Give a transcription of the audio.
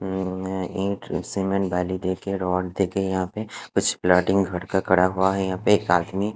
और में इट सिमेट वाली देखी रोड देखी यापे कुछ ब्लाडिंग हट का पड़ हुआ है यहा पे एक आदमी--